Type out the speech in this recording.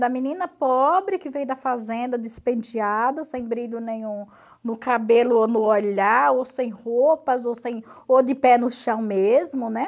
Da menina pobre que veio da fazenda despenteada, sem brilho nenhum no cabelo ou no olhar, ou sem roupas, ou sem, ou de pé no chão mesmo, né?